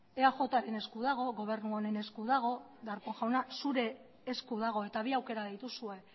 eajren esku dago gobernu honen esku dago darpón jauna zure esku dago eta bi aukera dituzue